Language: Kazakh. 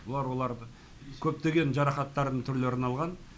бұл аурулар көптеген жарақаттардың түрлерін алған